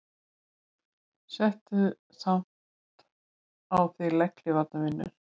Settu samt á þig legghlífar vinur.